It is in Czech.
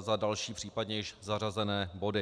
za další případně již zařazené body.